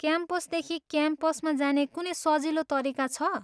क्याम्पसदेखि क्याम्पसमा जाने कुनै सजिलो तरिका छ?